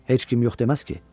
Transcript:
Heç kim yox deməz ki?